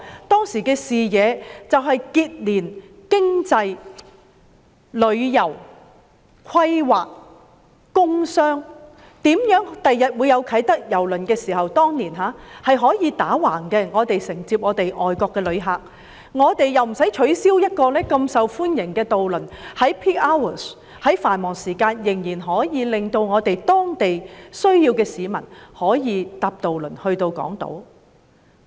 當時的視野是要結連經濟、旅遊、規劃、工商，構想如何在日後啟德郵輪碼頭落成時，可以承接外國旅客，亦不用取消如此受歡迎的渡輪服務，以讓當區有需要的市民可在繁忙時間乘搭渡輪前往港島。